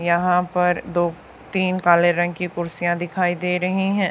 यहां पर दो तीन काले रंग की कुर्सियां दिखाई दे रही हैं।